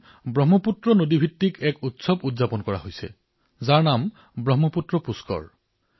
তেওঁ লিখিছিল যে ব্ৰহ্মপুত্ৰ নদীত এক উৎসৱৰ আয়োজন কৰা হৈছে যাৰ নাম হৈছে ব্ৰহ্মপুত্ৰ পুষ্কৰ